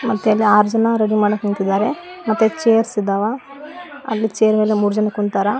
ಮತ್ತೆ ಇಲ್ಲಿ ಆರ್ ಜನ ರೆಡಿ ಮಾಡಕ್ ನಿಂತಿದಾರೆ ಮತ್ತೆ ಚೇರ್ಸ್ ಇದಾವ ಅಲ್ಲಿ ಚೇರ್ ಮೇಲೆ ಮೂರ್ ಜನ ಕುಂತಾರ.